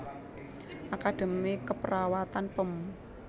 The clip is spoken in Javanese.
Akademi Keperawatan Pem